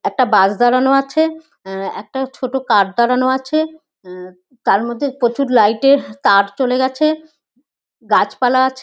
একটা বাস দাঁড়ানো আছে। আ-আ একটা ছোট কার দাঁড়ানো আছে। উ তার মধ্যে প্রচুর লাইট -এর তার চলে গেছে। গাছপালা আছে --